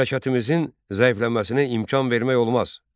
Məmləkətimizin zəifləməsinə imkan vermək olmaz.